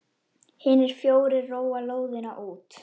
Hinir fjórir róa lóðina út.